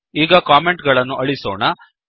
ಈಗ ಕಾಮೆಂಟ್ ಗಳನ್ನು ಅಳಿಸೋಣ